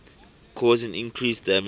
causing increased damage